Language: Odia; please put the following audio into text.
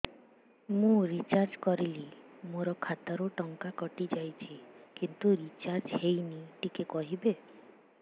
ମୁ ରିଚାର୍ଜ କରିଲି ମୋର ଖାତା ରୁ ଟଙ୍କା କଟି ଯାଇଛି କିନ୍ତୁ ରିଚାର୍ଜ ହେଇନି ଟିକେ କହିବେ